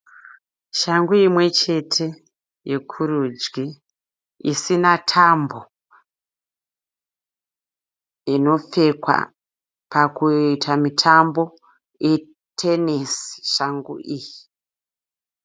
Shangu imwe chete yekurudyi isina tambo. Inopfekwa pakuita mitambo. Itenesi shangu iyi.